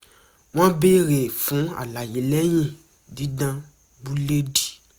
wọ́n béèrè fún àlàyé lẹ́yìn dídán búledì